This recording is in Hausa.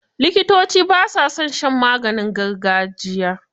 Likitoci ba sa son shan maganin gargajiya.